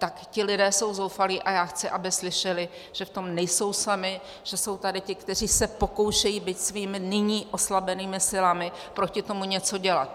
Tak ti lidé jsou zoufalí a já chci, aby slyšeli, že v tom nejsou sami, že jsou tady ti, kteří se pokoušejí, byť svými nyní oslabenými silami, proti tomu něco dělat.